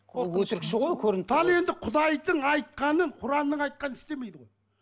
ол өтірікші ғой көрініп тұр ғой ал енді құдайдың айтқанын құранның айтқанын істемейді ғой